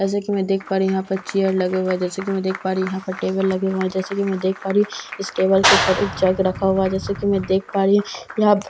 जैसा की मैं देख पा रही हूँ यहाँ पर चेयर लगे हुए है जैसा की मैं देख पा रही हूँ यहाँ पर टेबल लगे हुए है जैसा की मैं देख पा रही हूँ की इस टेबल के ऊपर एक जग रखा हुआ है जैसा की मैं देख पा रही हूँ यहाँ --